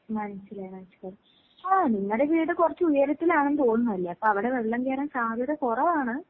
മനസ്സിലായി മനസ്സിലായി. ഓ നിങ്ങടെ വീട് കൊറച്ചുയരത്തിലാണെന്ന് തോന്നുന്നുവല്ലേ, അപ്പവടെ വെള്ളം കേറാൻ സാധ്യത കൊറവാണ്.